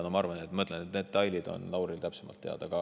Nagu ma ütlesin, detailid on Lauril täpsemalt teada.